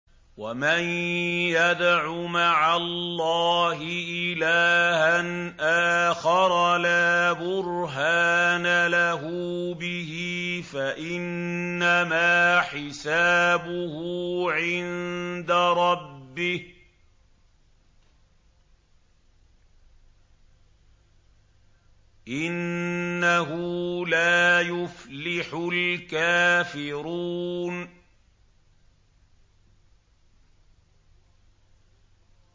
وَمَن يَدْعُ مَعَ اللَّهِ إِلَٰهًا آخَرَ لَا بُرْهَانَ لَهُ بِهِ فَإِنَّمَا حِسَابُهُ عِندَ رَبِّهِ ۚ إِنَّهُ لَا يُفْلِحُ الْكَافِرُونَ